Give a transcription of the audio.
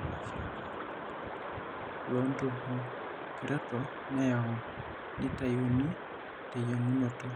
Ore oshiake oltagiligili loontubuekerato neyieu naitayuni teyieng'unoto.